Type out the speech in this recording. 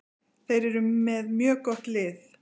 Þeir eru með mjög gott lið.